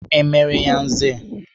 E mere ya Nze?